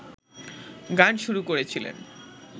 গান শুরু করেছিলেন